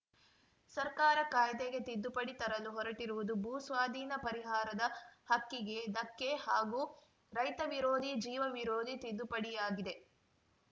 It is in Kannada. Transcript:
ಸರ್ಕಾರ ಕಾಯ್ದೆಗೆ ತಿದ್ದುಪಡಿ ತರಲು ಹೊರಟಿರುವುದು ಭೂ ಸ್ವಾಧೀನ ಪರಿಹಾರದ ಹಕ್ಕಿಗೆ ಧಕ್ಕೆ ಹಾಗೂ ರೈತ ವಿರೋಧಿ ಜೀವ ವಿರೋಧಿ ತಿದ್ದುಪಡಿಯಾಗಿದೆ